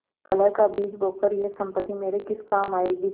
कलह का बीज बोकर यह सम्पत्ति मेरे किस काम आयेगी